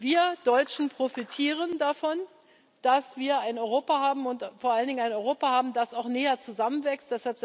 Wir Deutschen profitieren davon, dass wir ein Europa haben und vor allen Dingen ein Europa haben, das auch näher zusammenwächst.